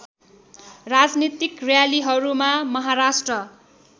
राजनीतिक र्‍यालीहरूमा महाराष्ट्र